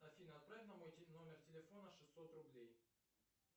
афина отправь на мой номер телефона шестьсот рублей